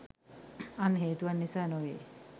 අන් හේතුවක් නිසා නොවේ